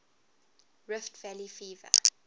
rift valley fever